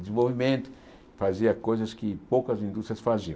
desenvolvimento, fazia coisas que poucas indústrias faziam.